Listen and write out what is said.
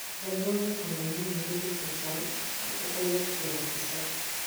Janyuol nyaka nen ni nyinge duto chal ka pok owuok ir afisa